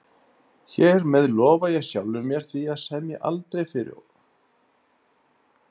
Hér með lofa ég sjálfri mér því að semja aldrei fyrir ólæstum dyrum